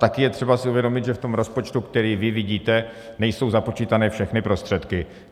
Také je třeba si uvědomit, že v tom rozpočtu, který vy vidíte, nejsou započítané všechny prostředky.